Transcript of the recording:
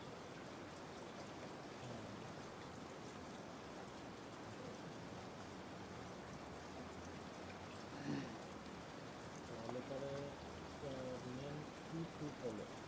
তাহলে পরে হম main কি ঠিক হলো?